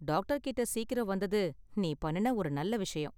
Doctor கிட்ட சீக்கிரம் வந்தது நீ பண்ணுன ஒரு நல்ல விஷயம்.